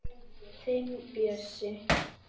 Þinn Bjössi.